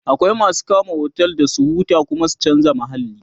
akwai masu kama otel Dan su huta su Kuma chanza mahalli